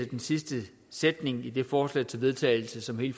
den sidste sætning i det forslag til vedtagelse som hele